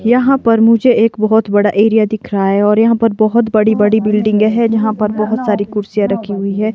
यहां पर मुझे एक बहोत बड़ा एरिया दिख रहा है और यहां पर बहोत बड़ी बड़ी बिल्डिंगें हैं जहां पर बहोत सारी कुर्सियां रखी हुई हैं।